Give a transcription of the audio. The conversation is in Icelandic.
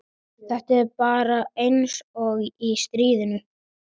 Þetta er bara eins og í stríðinu.